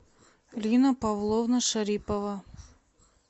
лина павловна шарипова